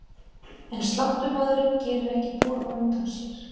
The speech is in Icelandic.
En sláttumaðurinn gerir ekki boð á undan sér.